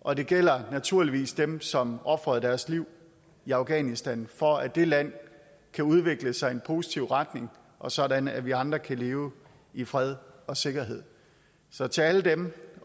og det gælder naturligvis dem som ofrede deres liv i afghanistan for at det land kan udvikle sig i en positiv retning og sådan at vi andre kan leve i fred og sikkerhed så til alle dem